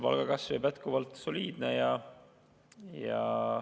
Palgakasv jääb jätkuvalt soliidseks.